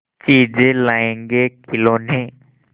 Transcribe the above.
चीजें लाएँगेखिलौने